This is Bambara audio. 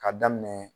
Ka daminɛ